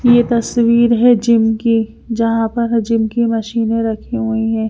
ये तस्वीर हैं जिम की जहाँ पर जिम की मशीने रखी हुई हैं।